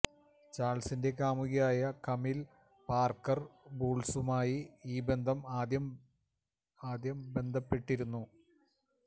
ചാൾസ്സിന്റെ കാമുകിയായ Camilla Parker ബൂൾസുമായി ഈ ബന്ധം ആദ്യം ബന്ധപ്പെട്ടിരുന്നു